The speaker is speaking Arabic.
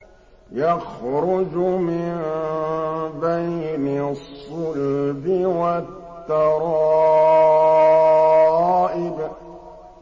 يَخْرُجُ مِن بَيْنِ الصُّلْبِ وَالتَّرَائِبِ